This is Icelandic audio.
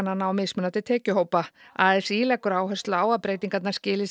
á mismunandi tekjuhópa a s í leggur áherslu á að breytingarnar skili